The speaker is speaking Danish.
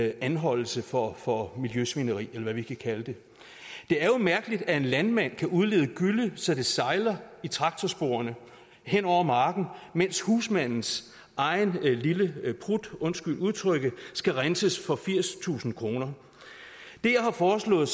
anholdelse for for miljøsvineri eller hvad vi kan kalde det det er jo mærkeligt at en landmand kan udlede gylle så det sejler i traktorsporene hen over marken mens husmandens egen lille prut undskyld udtrykket skal renses for firstusind kroner det jeg har foreslået